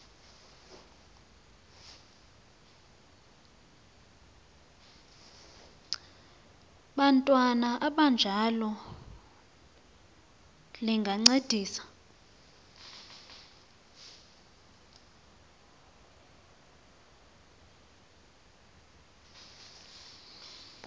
bantwana abanjalo lingancedisa